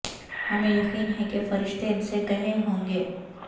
ہمیں یقین ہے کہ فرشتے ان سے کہے ہوں گے